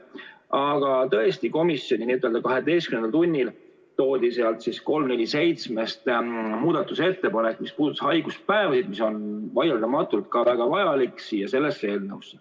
Aga tõesti, komisjonis n‑ö kaheteistkümnendal tunnil toodi sealt 347‑st muudatusettepanek, mis puudutas haiguspäevi ja mis on vaieldamatult väga vajalik, siia sellesse eelnõusse.